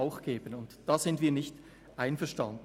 Damit sind wir nicht einverstanden.